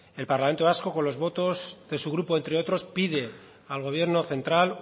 el parlamento vasco con los votos de su grupo entre otros pide al gobierno central